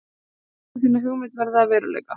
Viltu láta þína hugmynd verða að veruleika?